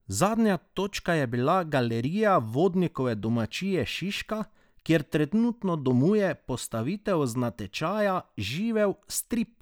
Zadnja točka je bila Galerija Vodnikove domačije Šiška, kjer trenutno domuje postavitev z natečaja Živel strip!